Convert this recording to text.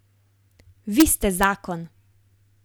Vi ste zakon!